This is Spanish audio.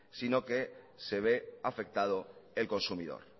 sino que se ve afectado el consumidor